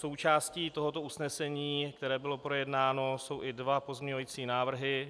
Součástí tohoto usnesení, které bylo projednáno, jsou i dva pozměňovací návrhy.